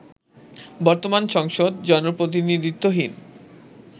বর্তমান সংসদ জনপ্রতিনিধিত্বহীন